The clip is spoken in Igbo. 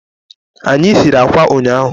Anyị sịrị ákwà ụnyaahụ.